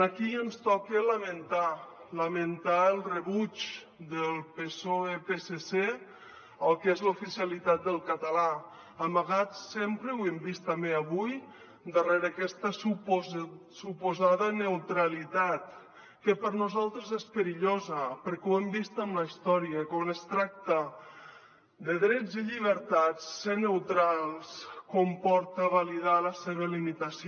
aquí ens toca lamentar lamentar el rebuig del psoe psc al que és l’oficialitat del català amagat sempre ho hem vist també avui darrere aquesta suposada neutralitat que per nosaltres és perillosa perquè ho hem vist en la història quan es tracta de drets i llibertats ser neutrals comporta validar la seva limitació